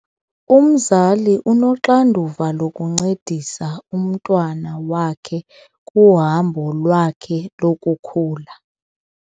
Umzali unoxanduva lokuncedisa umntwana wakhe kuhambo lwakhe lokukhula.